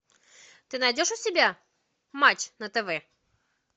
ты найдешь у себя матч на тв